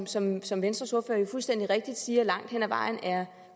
som som venstres ordfører jo fuldstændig rigtigt siger langt hen ad vejen er